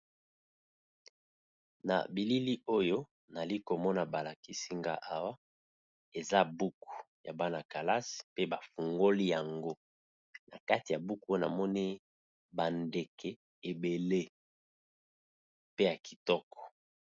Na bilili oyo nali komona balakisi nga awa eza buku ya bana-kalasi pe bafungoli yango na kati ya buku namoni ba ndeke ebele pe ya kitoko.